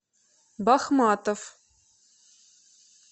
бахматов